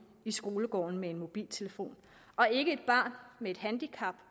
i skolegården med en mobiltelefon og ikke børn med et handicap